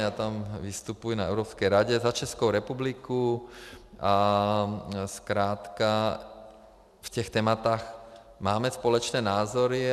Já tam vystupuji na Evropské radě za Českou republiku a zkrátka v těch tématech máme společné názory.